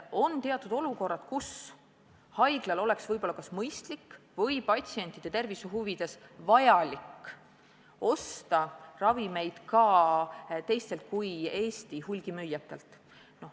On teatud olukorrad, kus haiglal oleks mõistlik või vajalik patsientide tervise huvides osta ravimeid ka teistelt kui Eesti hulgimüüjatelt.